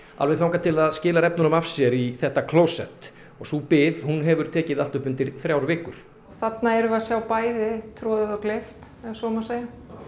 alveg þangað til það skilar efnunum af sér í þetta klósett og sú bið hefur tekið allt upp undir þrjár vikur þarna erum við að sjá bæði troðið og gleypt ef svo má segja